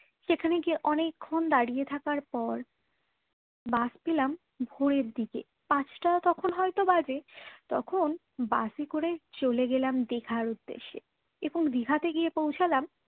সেখানে গিয়ে অনেকক্ষণ দাঁড়িয়ে থাকার পর বাস পেলাম ভোরের দিকে পাঁচটা তখন হয়তো বাজে তখন বাসে করে চলে গেলাম দীঘার উদ্দেশ্যে এবং দিঘাতে গিয়ে পৌছালাম